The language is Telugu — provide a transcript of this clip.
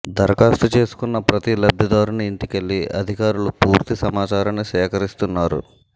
దరఖాస్తు చేసుకున్న ప్రతి లబ్దిదారుని ఇంటికెళ్ళి అధికారులు పూర్తి సమాచారాన్ని సేకరిస్తున్నారు